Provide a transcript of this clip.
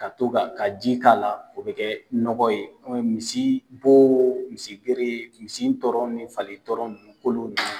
Ka to ka, ka ji k'a la o bɛ kɛ nɔgɔ ye misi bo misi gere misi tɔrɔn ni fali tɔrɔn kolo de.